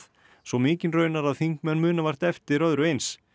svo mikinn raunar að þingmenn muna vart eftir öðru eins